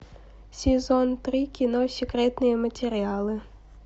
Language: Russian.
сезон три кино секретные материалы